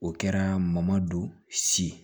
O kɛra ma don si